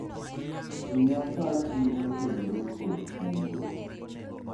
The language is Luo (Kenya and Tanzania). miya pachi motenore kod kungo